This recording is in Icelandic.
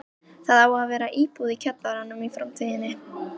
Það á að vera íbúð í kjallaranum í framtíðinni.